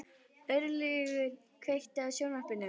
Örlygur, kveiktu á sjónvarpinu.